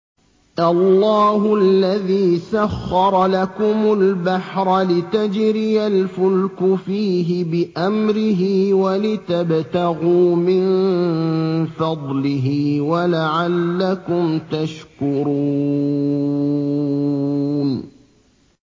۞ اللَّهُ الَّذِي سَخَّرَ لَكُمُ الْبَحْرَ لِتَجْرِيَ الْفُلْكُ فِيهِ بِأَمْرِهِ وَلِتَبْتَغُوا مِن فَضْلِهِ وَلَعَلَّكُمْ تَشْكُرُونَ